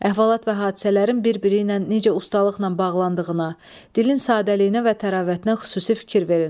Əhvalat və hadisələrin bir-biri ilə necə ustalıqla bağlandığına, dilin sadəliyinə və təravətinə xüsusi fikir verin.